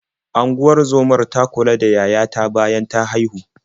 Unguzomar ta kula da yaya ta bayan ta haihu.